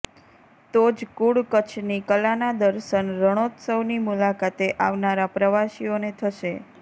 તો જ મૂળ કચ્છની કલાનાં દર્શન રણોત્સવની મુલાકાતે આવનારા પ્રવાસીઓને થશે